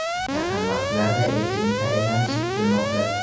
Yaqin vaqtlarda elchining tayinlanishi kutilmoqda.